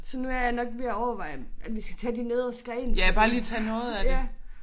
Så nu jeg nok ved at overveje om at vi skal tage de nederste grene fordi ja